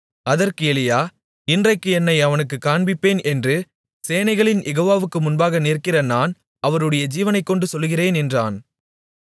அதற்கு எலியா இன்றைக்கு என்னை அவனுக்குக் காண்பிப்பேன் என்று சேனைகளின் யெகோவாவுக்கு முன்பாக நிற்கிற நான் அவருடைய ஜீவனைக் கொண்டு சொல்லுகிறேன் என்றான்